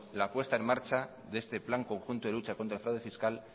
la puesta en marcha de este plan conjunto de lucha contra el fraude fiscal